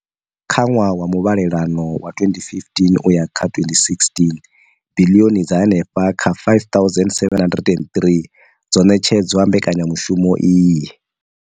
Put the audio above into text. Kha ṅwaha wa muvhalelano wa 2015,16, biḽioni dza henefha kha R5 703 dzo ṋetshedzwa mbekanyamushumo iyi.